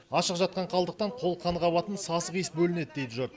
ашық жатқан қалдықтан қолқан қабатын сасық иіс бөлінед дейді жұрт